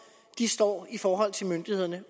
står i forhold til myndighederne